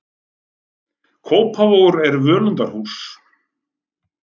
Kópavogur er völundarhús.